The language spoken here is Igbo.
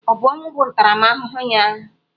Ọ bụ ọnwụ bụ ntaramahụhụ ya?